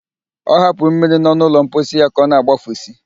Ọ hapụrụ mmiri nọ n'ụlọ mposi ya ka ọna-agbafusi